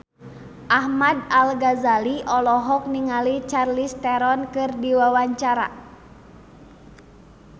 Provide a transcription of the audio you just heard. Ahmad Al-Ghazali olohok ningali Charlize Theron keur diwawancara